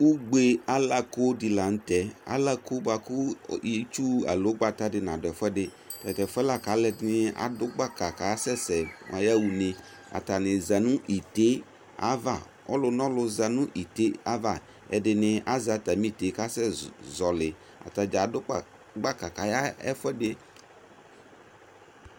Ʋgbe' alakoɖi la nʋ tɛɛ ,alako boakʋ itsu aloo ʋgbata nʋɖʋ ɛfuɛɖi tɛtɛfuɛ la k'alʋɛɖini ɖʋ gbaka k'asɛsɛ mʋ ayaɣa ʋne Atani zaa nʋ ite' avaƆlʋnʋlʋ zaa nʋ ite' ava ɛɖini azɛ atami ite'ɛ k'asɛzɔliAtadza aɖʋ gnaka k'ayaɣa ɛfuɛɖi